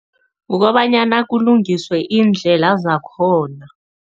Kukobanyana kulungiswe iindlela zakhona.